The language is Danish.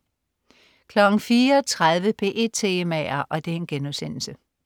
04.30 P1 Temaer*